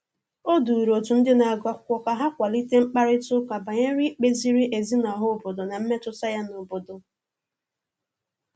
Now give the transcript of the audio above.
O duru otu ndị na-agụ akwụkwọ ka ha kwalite mkparịtaụka banyere ikpe ziri ezi n' ọha obodo na mmetụta ya n'obodo.